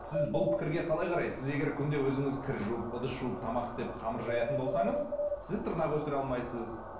сіз бұл пікірге қалай қарайсыз сіз егер күнде өзіңіз кір жуып ыдыс жуып тамақ істеп қамыр жаятын болсаңыз сіз тырнақ өсіре алмайсыз